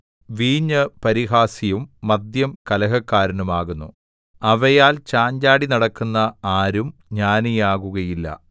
വീഞ്ഞ് പരിഹാസിയും മദ്യം കലഹക്കാരനും ആകുന്നു അവയാൽ ചാഞ്ചാടി നടക്കുന്ന ആരും ജ്ഞാനിയാകുകയില്ല